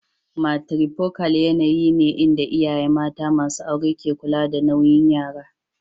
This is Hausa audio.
Matrifocal yanayi ne inda iyaye mata masu aure ke kula da nauyin yara.